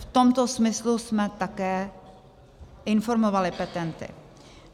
V tomto smyslu jsme také informovali petenty.